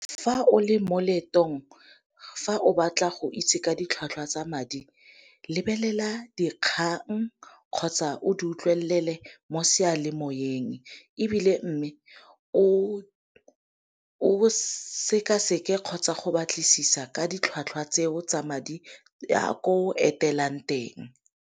Fa o le mo leetong fa o batla go itse ka ditlhwatlhwa tsa madi, lebelela dikgang kgotsa o di utlwelele mo sealemoyeng, ebile mme o o sekaseke kgotsa go batlisisa ka ditlhwatlhwa tseo tsa madi a ko o etelang teng.